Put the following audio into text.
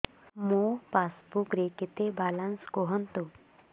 ମୋ ପାସବୁକ୍ ରେ କେତେ ବାଲାନ୍ସ କୁହନ୍ତୁ